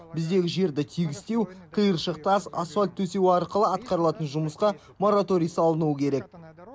біздегі жерді тегістеу қиыршық тас асфальт төсеу арқылы атқарылатын жұмысқа мораторий салынуы керек